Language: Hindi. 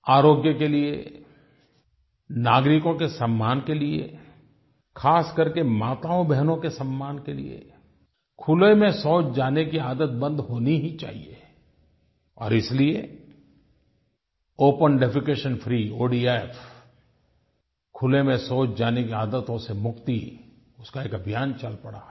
आरोग्य के लिये नागरिकों के सम्मान के लिये ख़ास करके माताओंबहनों के सम्मान के लिये खुले में शौच जाने की आदत बंद होनी ही चाहिए और इसलिये ओपन डेफेकेशन फ्री ओडीएफ खुले में शौच जाने की आदतों से मुक्ति उसका एक अभियान चल पड़ा है